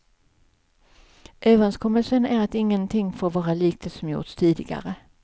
Överenskommelsen är att ingenting får vara likt det som gjorts tidigare.